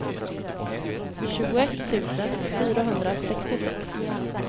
tjugoett tusen fyrahundrasextiosex